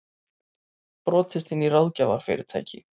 Brotist inn í ráðgjafarfyrirtæki